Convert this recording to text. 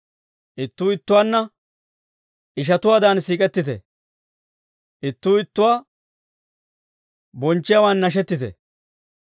Ittuu ittuwaanna ishatuwaadan siik'ettite; ittuu ittuwaa bonchchiyaawan nashettite.